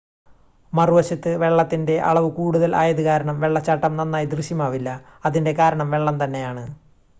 മറുവശത്ത് വെള്ളത്തിൻറ്റെ അളവ് കൂടുതൽ ആയത് കാരണം വെള്ളച്ചാട്ടം നന്നായി ദൃശ്യമാവില്ല - അതിൻറ്റെ കാരണം വെള്ളം തന്നെയാണ്